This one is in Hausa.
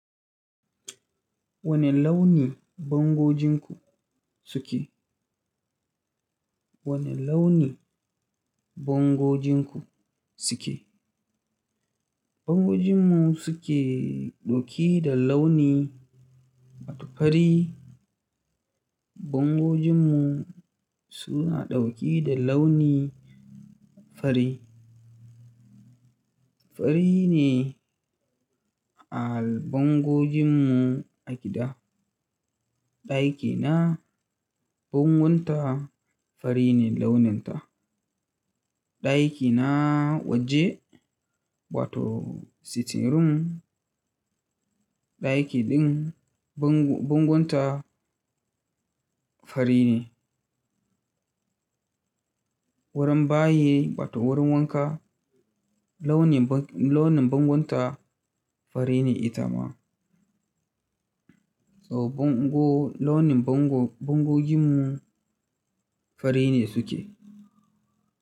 Wane launi bangojinku suke? Wane launi bangojinku suke? Bangojinmu su ke ɗauki da launi, wato fari. Bangojinmu suna ɗauki da launi fari. Fari ne a'al bangojinmu a gida. Ɗakina, bangon ta fari ne launin ta. Ɗaki na waje wato sitting room, ɗaki din bangon ta fari ne. Wurin bayi wato wurin wanka, launi bang- launin bangon ta fari ne ita ma. So bango-- launin bango- bangojinmu fari ne suke.